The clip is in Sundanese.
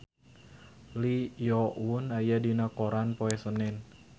Lee Yo Won aya dina koran poe Senen